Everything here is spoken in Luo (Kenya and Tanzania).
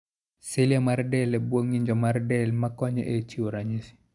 Cilia mar del e bwo ng'injo mar del ma konyo e chiwo ranyisi.